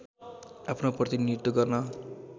आफ्नो प्रतिनीधित्व गर्न